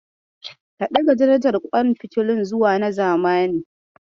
Ka ɗaga darajar ƙwan fitilun zuwa na zamani.